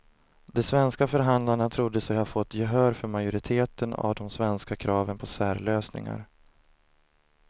De svenska förhandlarna trodde sig ha fått gehör för majoriteten av de svenska kraven på särlösningar.